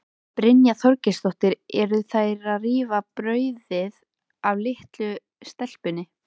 Brynja Þorgeirsdóttir: Eru þær að rífa brauðið af litlu stelpunni?